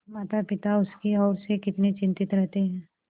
मातापिता उसकी ओर से कितने चिंतित रहते हैं